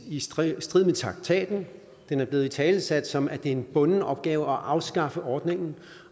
i strid strid med traktaten den er blevet italesat som at det er en bunden opgave at afskaffe ordningen